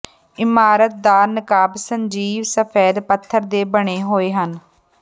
ਇਮਾਰਤ ਦਾ ਨਕਾਬ ਸਜੀਵ ਸਫੈਦ ਪੱਥਰ ਦੇ ਬਣੇ ਹੋਏ ਹਨ